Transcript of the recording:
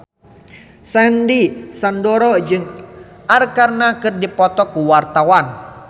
Sandy Sandoro jeung Arkarna keur dipoto ku wartawan